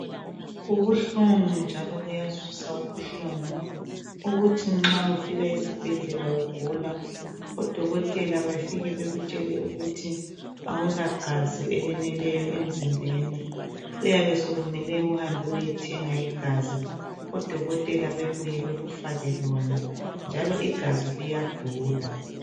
Kubuhlungu njalo kuyazwisa ubuhlungu ukuthi nxa ufika esibhedlela ugula odokotela bafike bakutshele ukuthi awulagazi eleneleyo emzimbeni kuyabe sokumele uhambe uyethenga igazi odokotela bebuye bekufake bona njalo igazi liyadula.